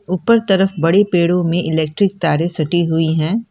ऊपर तरफ बड़ी पेड़ो में इलेक्ट्रिक तारे सटी हुई हैं।